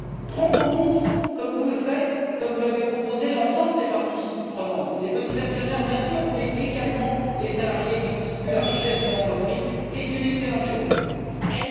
Prendre en compte comme vous le faites et comme vous l'avez proposé l'ensemble des parties prenantes, les petits actionnaires, bien sûr, mais également les salariés, qui constituent la richesse d'une entreprise, est extrêmement positif.